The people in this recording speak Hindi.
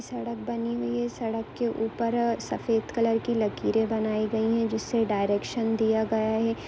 सड़क बानी हुई है सड़क के ऊपर सफेद कलर की लाखेरी बनाई गयी है जिसे डायरेक्शन दिया गया है।